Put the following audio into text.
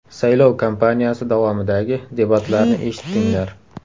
Saylov kampaniyasi davomidagi debatlarni eshitdinglar.